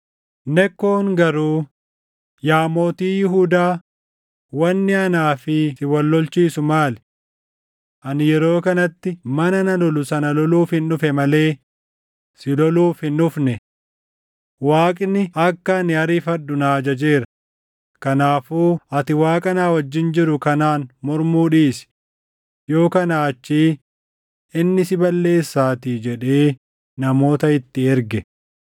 Nekkoon garuu, “Yaa mootii Yihuudaa, wanni anaa fi siʼi wal lolchiisu maali? Ani yeroo kanatti mana na lolu sana loluufin dhufe malee si loluuf hin dhufne. Waaqni akka ani ariifadhu na ajajeera; kanaafuu ati Waaqa na wajjin jiru kanaan mormuu dhiisi; yoo kanaa achii inni si balleessaatii” jedhee namoota itti erge.